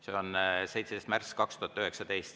See oli 17. märts 2019.